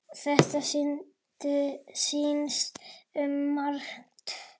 Þetta snýst um margt.